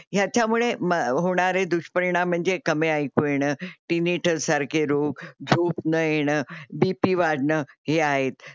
ह्याच्यामुळे म होणारे दूषपरिणाम म्हणजे कमी ऐकु येण, टीनिटस सारखे रोग, झोप न येणं, बी पी वाडण हे आहेत.